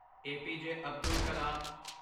APJ. Abdul ਕਲਮ